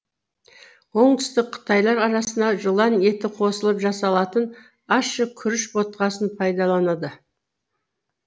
оңтүстік қытайлар арасына жылан еті қосылып жасалатын ащы күріш ботқасын пайдаланады